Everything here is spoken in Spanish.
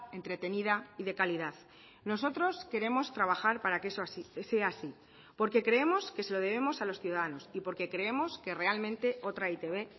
entretenida y de calidad nosotros queremos trabajar para que eso sea así porque creemos que se lo debemos a los ciudadanos y porque creemos que realmente otra e i te be